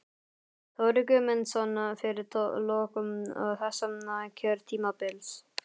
Þórir Guðmundsson: Fyrir lok þessa kjörtímabils?